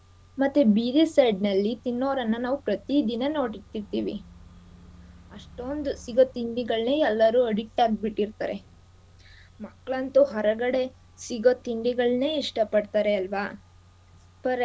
ಮತ್ತೆ ಬೀದಿ side ನಲ್ಲಿ ತಿನ್ನೋವ್ರನ್ನ ನಾವ್ ಪ್ರತಿ ದಿನ ನೋಡ್ತೀರ್ತಿವಿ ಅಷ್ಟೊಂದ್ ಸಿಗೋ ತಿಂಡಿಗಳೇ ಎಲ್ಲರೂ addict ಆಗ್ಬಿಟಿರ್ತಾರೆ. ಮಕ್ಕ್ಳಂತು ಹೊರಗಡೆ ಸಿಗೋ ತಿಂಡಿಗಳ್ನೇ ಇಷ್ಟ ಪಡ್ತಾರೆ ಅಲ್ವಾ For example gobi manchurian, noodles uh.